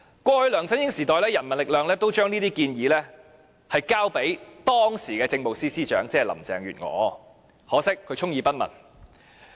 過去在梁振英時代，人民力量都將這些建議交給時任政務司司長，可惜她充耳不聞。